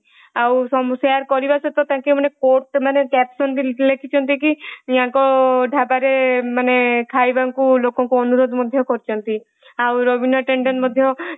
ଆଉ share କରିବା ସହିତ ତାଙ୍କୁ ମାନେ quote ମାନେ caption ବି ଲେଖିଛନ୍ତି କି ଯାନକ ଢାବାରେ ମାନେ ଖାଇବାକୁ ଲୋକଙ୍କୁ ଅନୁରୋଧ ମଧ୍ୟ କରିଛନ୍ତି। ଆଉ ରାବିନା ଟେଣ୍ଡେନ